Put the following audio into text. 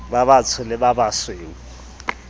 ba batsho le ba basweu